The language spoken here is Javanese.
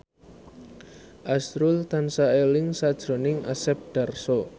azrul tansah eling sakjroning Asep Darso